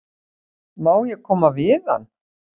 Má ekki koma við hann?